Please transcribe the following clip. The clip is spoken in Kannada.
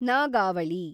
ನಾಗಾವಳಿ